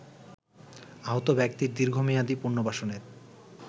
আহত ব্যক্তির দীর্ঘমেয়াদী পুনর্বাসনের